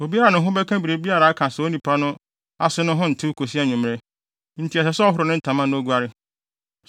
Obiara a ne ho bɛka biribiara a aka saa onipa no ase no ho ntew kosi anwummere, enti ɛsɛ sɛ ɔhoro ne ntama na oguare.